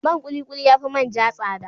Man ƙuli-ƙuli ya fi man ja tsada.